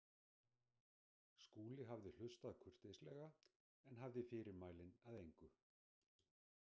Skúli hafði hlustað kurteislega en hafði fyrirmælin að engu.